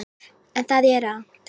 En það er rangt.